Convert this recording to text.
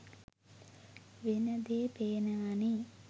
වෙන දේ පේනවානෙ.